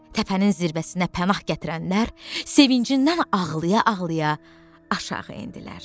Təpənin zirvəsinə pənah gətirənlər sevincindən ağlaya-ağlaya aşağı endilər.